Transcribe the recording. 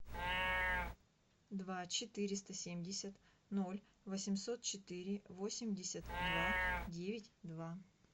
два четыреста семьдесят ноль восемьсот четыре восемьдесят два девять два